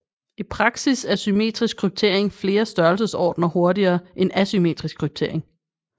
I praksis er symmetrisk kryptering flere størrelsesordener hurtigere end asymmetrisk kryptering